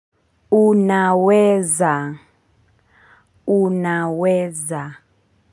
Unaweza unaweza.